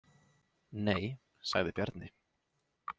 Nei, sagði Bjarni.